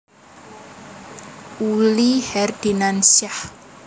Uli Herdinansyah